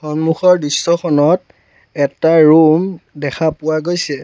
সন্মুখৰ দৃশ্যখনত এটা ৰুম দেখা পোৱা গৈছে।